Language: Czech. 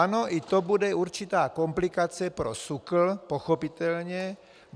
Ano, i to bude určitá komplikace pro SÚKL pochopitelně.